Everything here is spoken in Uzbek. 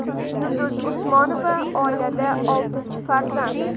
Yulduz Usmonova oilada oltinchi farzand .